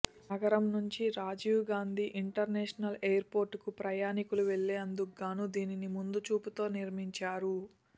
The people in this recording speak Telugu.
నగరం నుంచి రాజీవ్ గాంధీ ఇంటర్నేషనల్ ఎయిర్పోర్టుకు ప్రయాణికులు వెళ్లేందుకుగాను దీనిని ముందుచూపుతో నిర్మించారు